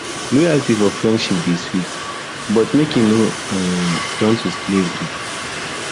loyalty for friendship dey sweet but make e um no turn to slavery